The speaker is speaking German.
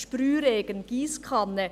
Sprühregen, Giesskanne.